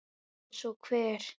Eins og hver?